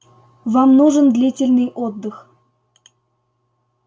вам нужен длительный отдых